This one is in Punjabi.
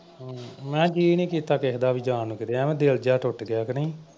ਮੈਂ ਕਿਹਾ ਜੀਅ ਨਈਂ ਕੀਤਾ ਕਿਸੇ ਦਾ ਵੀ ਜਾਣ ਨੂੰ ਕਿਤੇ ਐਵੇਂ ਦਿਲ ਜਿਹਾ ਟੁੱਟ ਗਿਆ ਕਿ ਨਈਂ।